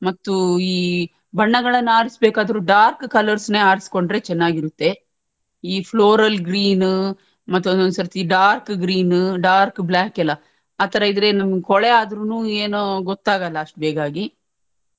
ಮತ್ತು ಈ ಬಣ್ಣಗಳನ್ನ್ ಆರಿಸ್ಬೇಕಾದ್ರು ಈ dark colours ನೇ ಆರಿಸ್ಕೊಂಡ್ರೆ ಚೆನ್ನಾಗಿರುತ್ತೆ ಈ floral greenನ್ ಮತ್ತೊಂದೊಂಸರ್ತಿ dark green ನ್ dark black ಕೆಲ್ಲಾ ಆತರ ಇದ್ರೆ ನಮ್ಮ್ ಕೊಳೆ ಆದ್ರೂನು ಏನು ಗೊತ್ತಾಗಲ್ಲ ಅಷ್ಟ್ ಬೇಗಾಗಿ.